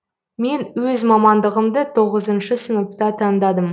мен өз мамандығымды тоғызыншы сыныпта таңдадым